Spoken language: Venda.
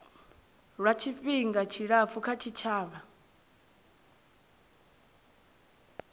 lwa tshifhinga tshilapfu kha tshitshavha